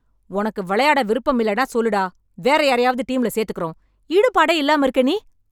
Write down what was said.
உனக்கு வெளையாட விருப்பமில்லென்னா சொல்லு டா. வேற யாரையாவது டீம்ல சேத்துக்கறோம். ஈடுபாடே இல்லாம இருக்க நீ!